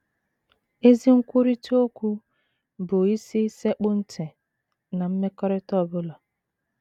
Ezi nkwurịta okwu bụ isi sekpụ ntị ná mmekọrịta ọ bụla.